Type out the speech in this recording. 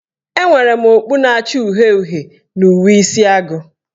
Enwere m okpu na-acha uhie uhie na uwe Isi agụ